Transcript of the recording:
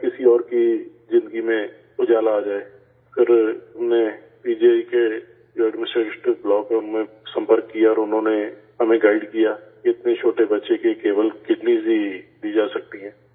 شاید کسی اور کی زندگی میں اجالا آ جائے، پھر ہم نے پی جی آئی کے جو ایڈمنسٹریٹو بلاک ہے ان سے رابطہ کیا اور انہوں نے ہمیں گائیڈ کیا کہ اتنے چھوٹے بچے کی صرف کڈنی ہی لی جا سکتی ہے